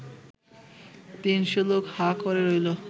তিনশো লোক হাঁ করে রইল